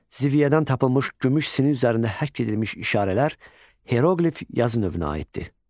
Ziviyədən tapılmış gümüş sinin üzərində həkk edilmiş işarələr heroqlif yazı növünə aiddir.